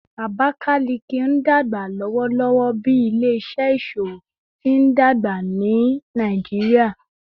Abakalaki n dagba lọwọlọwọ bi ile-iṣẹ iṣowo ti ndagba ni Nigeria